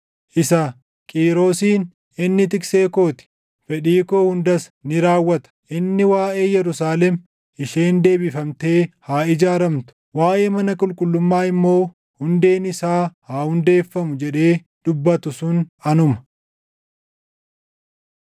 isa Qiirosin, ‘Inni tiksee koo ti; fedhii koo hundas ni raawwata; inni waaʼee Yerusaalem, “Isheen deebifamtee haa ijaaramtu” waaʼee mana qulqullummaa immoo, “Hundeen isaa haa hundeeffamu” jedhee dubbatu sun anuma.’